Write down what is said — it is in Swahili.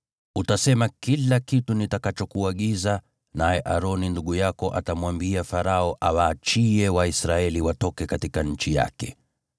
Utasema kila kitu nitakachokuagiza, naye Aroni ndugu yako atamwambia Farao awaachie Waisraeli watoke katika nchi yake.